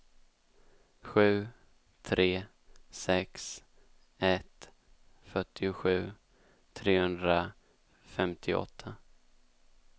sju tre sex ett fyrtiosju trehundrafemtioåtta